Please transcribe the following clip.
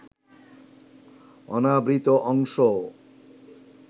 অনাবৃত অংশ